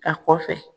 A kɔfɛ